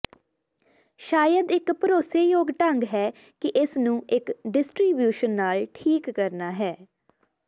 ਸ਼ਾਇਦ ਇੱਕ ਭਰੋਸੇਯੋਗ ਢੰਗ ਹੈ ਕਿ ਇਸ ਨੂੰ ਇੱਕ ਡਿਸਟਰੀਬਿਊਸ਼ਨ ਨਾਲ ਠੀਕ ਕਰਨਾ ਹੈ